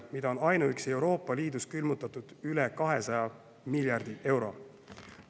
on ainuüksi Euroopa Liidus külmutatud üle 200 miljardi euro.